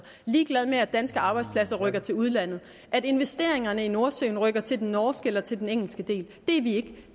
er ligeglad med at danske arbejdspladser rykker til udlandet og at investeringerne i nordsøen rykker til den norske eller til den engelske del det er vi